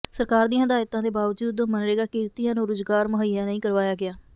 ਸਰਕਾਰ ਦੀਆਂ ਹਦਾਇਤਾਂ ਦੇ ਬਾਵਜੂਦ ਮਗਨਰੇਗਾ ਕਿਰਤੀਆਂ ਨੂੰ ਰੁਜ਼ਗਾਰ ਮੁਹੱਈਆ ਨਹੀਂ ਕਰਵਾਇਆ ਗਿਆ